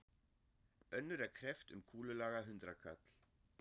Önnur er kreppt um kúlulaga hundraðkall.